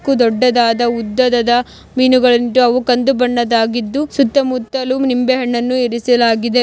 ದೊಡ್ಡದಾದ ಉದ್ದದದ ಮೀನುಗಳುಂಟು ಅವು ಕಂದು ಬಣ್ಣದಾಗಿದ್ದು ಸುತ್ತ ಮುತ್ತಲು ನಿಂಬೆ ಹಣ್ಣನ್ನು ಇರಿಸಲಾಗಿದೆ.